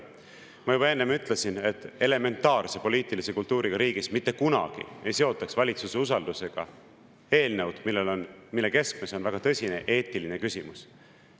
Ma juba enne ütlesin, et elementaarse poliitilise kultuuriga riigis mitte kunagi ei seotaks valitsuse usaldamisega eelnõu, mille keskmes on väga tõsine eetiline küsimus.